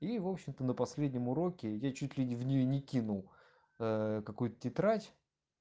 в общем-то на последнем уроке я чуть в неё не кинул какую-то тетрадь